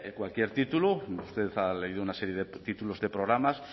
cualquier título usted ha leído una serie de títulos de programas